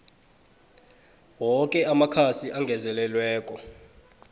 woke amakhasi angezelelweko